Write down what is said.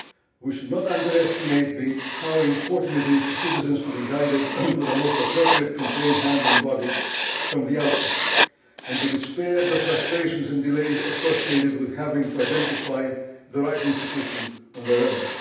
We should not underestimate how important it is for citizens to be guided to the most appropriate complaint handling body from the outset and to be spared the frustrations and delays associated with having to identify the right institution on their own.